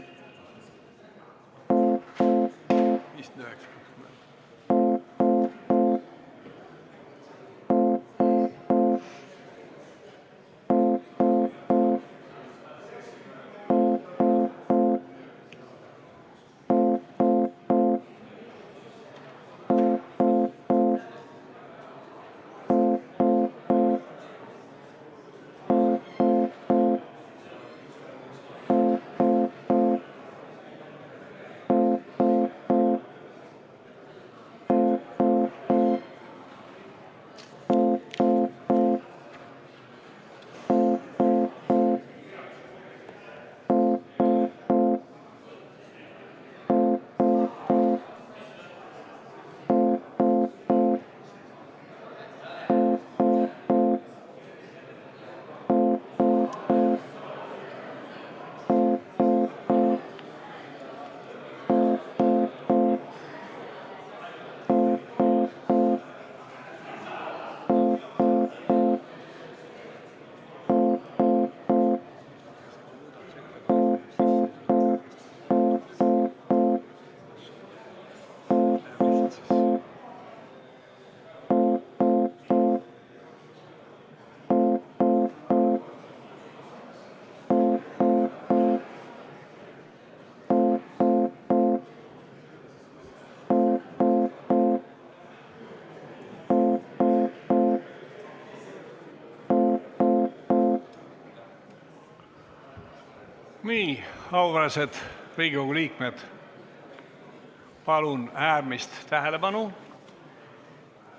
Auväärsed Riigikogu liikmed, palun tähelepanu!